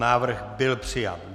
Návrh byl přijat.